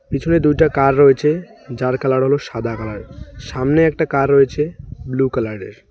পিছনে দুইটা কার রয়েছে যার কালার হলো সাদা কালার সামনে একটা কার রয়েছে ব্লু কলার -এর।